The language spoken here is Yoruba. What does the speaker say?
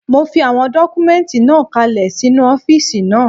Mo fi àwọn dọ́kúmẹ́ǹtì náà kalẹ̀ sínu ọ́fìsì náà